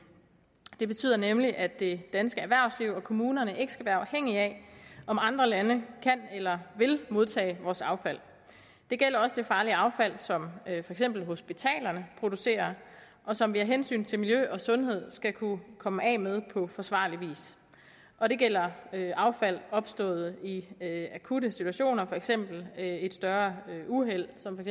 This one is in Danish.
det betyder nemlig at det danske erhvervsliv og kommunerne ikke skal være afhængige af om andre lande kan eller vil modtage vores affald det gælder også det farlige affald som eksempel hospitalerne producerer og som vi af hensyn til miljø og sundhed skal kunne komme af med på forsvarlig vis og det gælder affald opstået i akutte situationer for eksempel et større uheld som et